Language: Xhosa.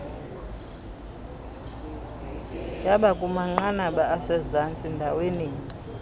yabakumanqanaba asezantsi ndaweninye